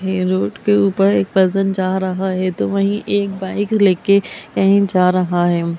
यह रोड के ऊपर एक पर्सन जा रहा है तो वही एक बाइक लेके कही जा रहा है।